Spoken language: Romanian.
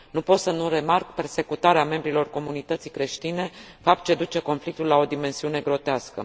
Nu pot să nu remarc persecutarea membrilor comunității creștine, fapt ce duce conflictul la o dimensiune grotescă.